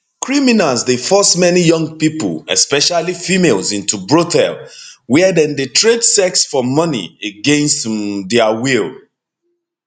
criminals dey force many young pipo especially females into brothel wia dem dey trade sex for money against um dia will